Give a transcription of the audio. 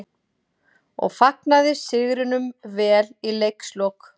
. og fagnaði sigrinum vel í leikslok.